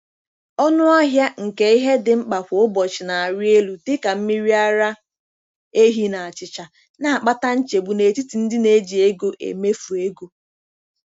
Ọnụ ahịa nke ihe dị mkpa kwa ụbọchị na-arịelu, dị ka mmiri ara ehi na achịcha, na-akpata nchegbu n'etiti ndị na-eji ego emefu ego.